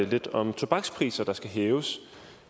lidt om tobakspriser der skal hæves